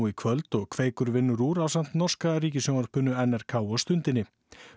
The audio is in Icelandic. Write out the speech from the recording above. í kvöld og Kveikur vinnur úr ásamt norska ríkissjónvarpinu n r k og Stundinni